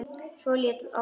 Leit svo á mömmu.